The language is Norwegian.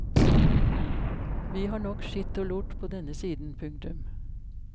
Vi har nok skitt og lort på denne siden. punktum